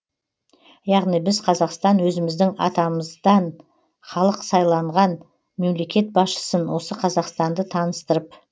яғни біз қазақстан өзіміздің атамыздан халық сайланған мемлекет басшысын осы қазақстанды таныстырып